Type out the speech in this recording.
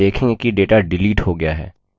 आप देखेंगे कि data डिलीट हो गया है